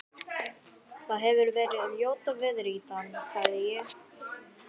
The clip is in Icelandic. Það hefir verið ljóta veðrið í dag- sagði ég.